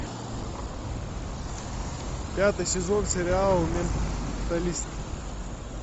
пятый сезон сериал менталист